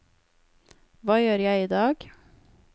hva gjør jeg idag